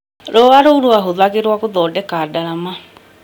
Rũa rũu rwahũthagĩrwo gũthondeka ndarama